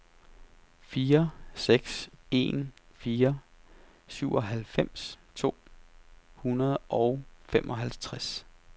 fire seks en fire syvoghalvfems to hundrede og femoghalvtreds